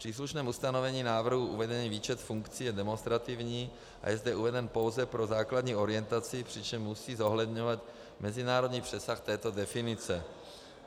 V příslušném ustanovení návrhu uvedený výčet funkcí je demonstrativní a je zde uveden pouze pro základní orientaci, přičemž musí zohledňovat mezinárodní přesah této definice.